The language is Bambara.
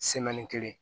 kelen